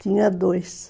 Tinha dois.